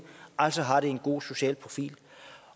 altså har det en god social profil